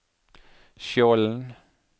Skjolden